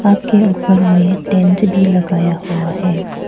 के ऊपर में टेंट भी लगाया हुआ है।